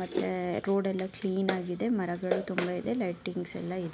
ಮತ್ತೆ ರೋಡ್ ಎಲ್ಲಾ ಕ್ಲೀನ್ ಆಗಿದೆ ಮರಗಳು ತುಂಬಾ ಇದೆ ಲೈಟಿಂಗ್ಸ್ಯಲ್ಲಾ --